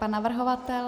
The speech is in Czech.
Pan navrhovatel?